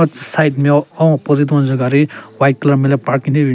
Ro tsü side nmeo ahon opposite wange gari white colour nmele parking thyupe ben binyon.